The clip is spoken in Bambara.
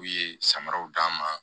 U ye samaraw d'a ma